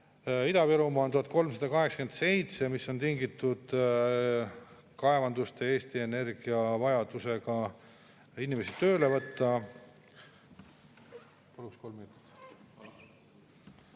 Kirjeldades seda, kuidas valitsus soovib kaotada kulukad ja ebaefektiivsed maksusoodustused, peab ütlema, et selle eelnõu tulemusena kulu suureneb ja ainukese saab rakendatud või ellu viidud Reformierakonna maksuküüru – mille nad on enda jaoks välja mõelnud – ja selle täitmine suurusjärgus alates 300 miljonist 2025. aastal, 200 miljonit aastas, kokku suurusjärgus 700 miljonit.